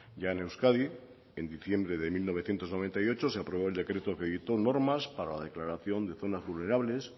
ya en euskadi en diciembre de mil novecientos noventa y ocho se aprobó el decreto que dictó normas para la declaración de zonas vulnerables